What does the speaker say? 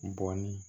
Bɔn ni